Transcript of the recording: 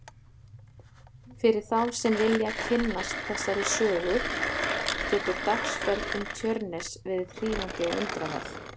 Fyrir þá sem vilja kynnast þessari sögu getur dagsferð um Tjörnes verið hrífandi og undraverð.